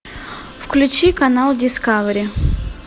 включи канал дискавери